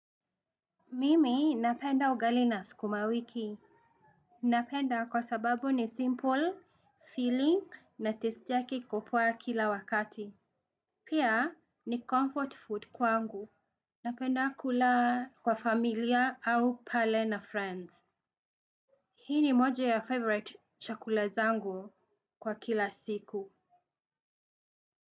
Mimi napenda ugali na sukuma wiki. Napenda kwa sababu ni simple, filling na testi yake iko poa kila wakati. Pia ni comfort food kwangu. Napenda kula kwa familia au pale na friends. Hii ni moja ya favorite chakula zangu kwa kila siku.